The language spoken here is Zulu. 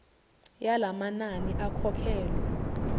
yala manani akhokhelwe